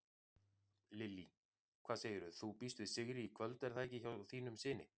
Lillý: Hvað segirðu, þú býst við sigri í kvöld er það ekki hjá þínum syni?